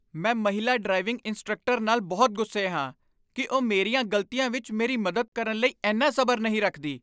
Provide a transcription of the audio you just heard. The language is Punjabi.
ਮੈਂ ਮਹਿਲਾ ਡਰਾਈਵਿੰਗ ਇੰਸਟ੍ਰਕਟਰ ਨਾਲ ਬਹੁਤ ਗੁੱਸੇ ਹਾਂ ਕਿ ਉਹ ਮੇਰੀਆਂ ਗ਼ਲਤੀਆਂ ਵਿੱਚ ਮੇਰੀ ਮਦਦ ਕਰਨ ਲਈ ਇੰਨਾ ਸਬਰ ਨਹੀਂ ਰੱਖਦੀ।